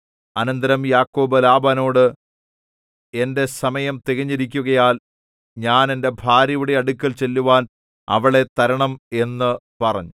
അനന്തരം യാക്കോബ് ലാബാനോട് എന്റെ സമയം തികഞ്ഞിരിക്കുകയാൽ ഞാൻ എന്റെ ഭാര്യയുടെ അടുക്കൽ ചെല്ലുവാൻ അവളെ തരണം എന്നു പറഞ്ഞു